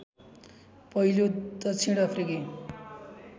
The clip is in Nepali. पहिलो दक्षिण अफ्रिकी